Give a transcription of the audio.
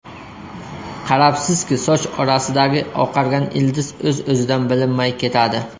Qarabsizki, soch orasidagi oqargan ildiz o‘z-o‘zidan bilinmay ketadi.